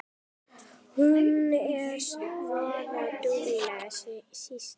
Hún er voða dugleg, stýrið.